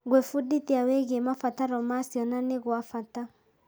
Gwĩbundithia wĩgiĩ mabataro ma ciana nĩ gwa bata.